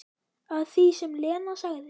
Að því sem Lena sagði.